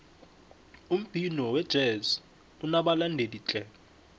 umbhino wejezi unobalandeli tle